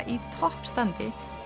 í toppstandi